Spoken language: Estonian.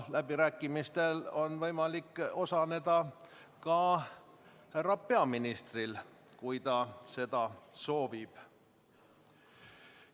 Läbirääkimistel on võimalik osaleda ka härra peaministril, kui ta seda soovib.